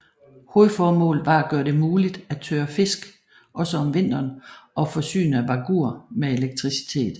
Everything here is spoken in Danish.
Hovedformålet var at gøre det muligt at tørre fisk også om vinteren og forsyne Vágur med elektricitet